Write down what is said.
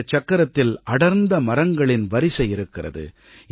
இந்தச் சக்கரத்தில் அடர்ந்த மரங்களின் வரிசை இருக்கிறது